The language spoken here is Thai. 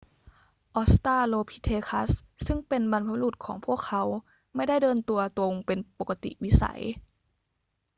ออสตราโลพิเธคัสซึ่งเป็นบรรพบุรุษของพวกเขาไม่ได้เดินตัวตรงเป็นปกติวิสัย